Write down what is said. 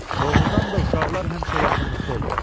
Doğrudan da uşaqlar həmişə yaxınlıqda olur.